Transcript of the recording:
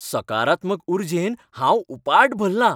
सकारात्मक उर्जेन हांव उपाट भल्लां.